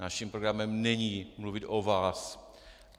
Naším programem není mluvit o vás.